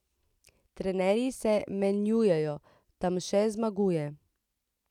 Trenerji se menjujejo, Tamše zmaguje.